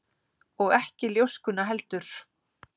Og ekki ljóskuna heldur.